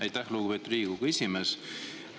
Aitäh, lugupeetud Riigikogu esimees!